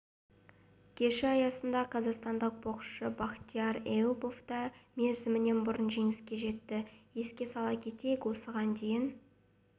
кеші аясында қазақстандық боксшыбахтияр эюбов та мерзімінен бұрын жеңіске жетті еске сала кетейік осыған дейін